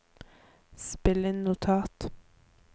spill inn notat